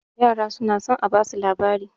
yara suna son a basu labari